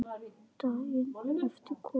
Daginn eftir kom annað bréf.